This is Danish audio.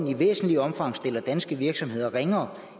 i væsentligt omfang stiller danske virksomheder ringere